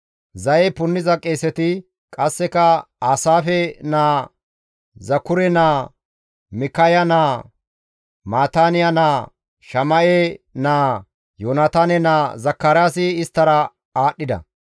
zaye punniza qeeseti, qasseka Aasaafe naa, Zakure naa, Mikkaya naa, Maataaniya naa, Shama7e naa, Yoonataane naa Zakaraasi isttara aadhdhida.